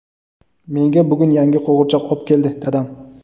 menga bugun yangi qo‘g‘irchoq ob keldi dadam.